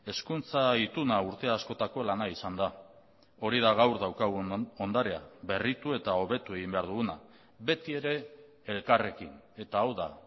hezkuntza ituna urte askotako lana izan da hori da gaur daukagun ondarea berritu eta hobetu egin behar duguna beti ere elkarrekin eta hau da